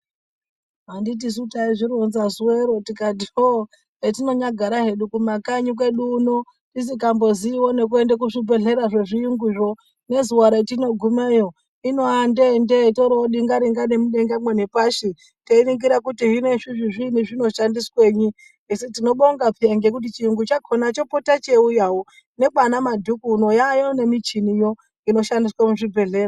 Handiti suu taizvironza zuva iroo tikati hoo petino nyagara hedu kumakanyi kwedu kuno tisingamboziyiwo nekuenda kuzvibhedhleya zvezvirungu yoo nezuva retinogumeyo inowa ndee ndee torove denga denga nepashi teyiningira kuti zveshe izvi zvinoshandisweyi asi tinobonga peya nekuti chiyungu chakona chopota cheyiuyawo nekwana madhuku uno yaayo nemichini yoo inoshandiswa muzvibhedhlera.